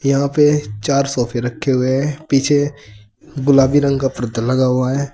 यहां पे चार सोफे रखे हुए हैं पीछे गुलाबी रंग का पर्दा लगा हुआ है।